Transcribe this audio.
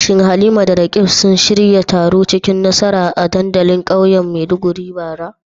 Shin Halima da Roqeeb sun shirya taro cikin nasara a dandalin kauyen Maiduguri bara?